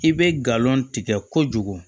I bɛ galon tigɛ kojugu